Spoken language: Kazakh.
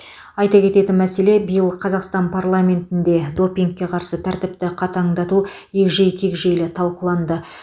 айта кететін мәселе биыл қазақстан парламентінде допингке қарсы тәртіпті қатаңдату егжей тегжейлі талқыланды